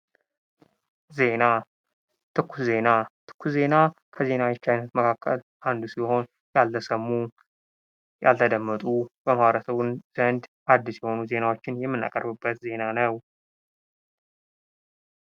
ዜና ትኩስ ዜና ትኩስ ዜና ከዜናዎች መካከል አንዱ ሲሆን ያልተሰሙ፣ ያልተደመጡ፣ በማህበርሰቡ ዘንድ አዲስ የሆኑ፣ ዜናዎችን የምቀርብበት ዜና ነው።